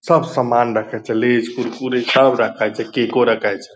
सब समान रखै छै लेज कुरकुरे सब रखै छै केको रखै छै।